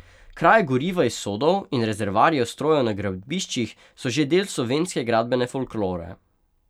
Kraje goriva iz sodov in rezervoarjev strojev na gradbiščih so že del slovenske gradbene folklore.